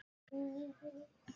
Þú heitir?